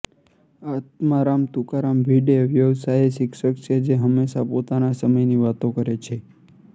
આત્મારામ તુકારામ ભિડે વ્યવસાયે શિક્ષક છે જે હંમેશા પોતાના સમયની વાતો કરે છે